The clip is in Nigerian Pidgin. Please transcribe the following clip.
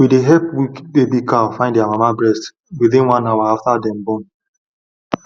we dey help weak baby cow find their mama breast within one hour after dem born